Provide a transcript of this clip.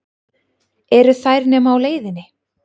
Eru þær nema á leiðinni?